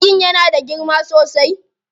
Jirgin yana da girma sosai.